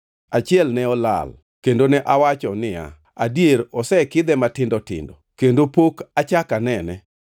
Achiel ne olal, kendo ne awacho niya, “Adier osekidhe matindo tindo.” Kendo pok achak anene.